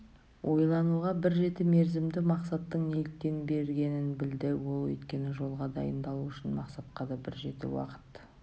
ойлануға бір жеті мерзімді мақсаттың неліктен бергенін білді ол өйткені жолға дайындалу үшін мақсатқа да бір жеті уақыт